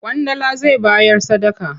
Ƙwandala zai bayar sadaka.